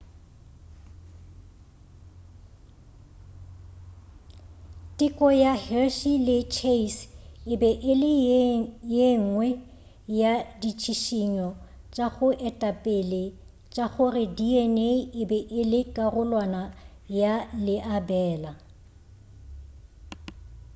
teko ya hershey le chase e be e le yengwe ya ditšhišinyo tša go etapele tša gore dna e be e le karolwana ya leabela